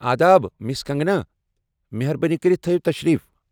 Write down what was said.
آداب، مس کنگنا! مہربٲنی کٔرِتھ تھایو تشریف ۔